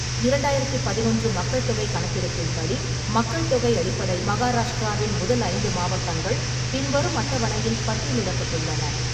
இரண்டாயிரத்து பதினொன்று மக்கள் தொகை கணக்கெடுப்பின்படி, மக்கள் தொகை அடிப்படை மகாராஷ்டிராவின் முதல் ஐந்து மாவட்டங்கள் பின்வரும் அட்டவணையில் பட்டியலிடப்பட்டுள்ளன.